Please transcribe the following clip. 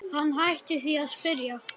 Hann hætti því að spyrja.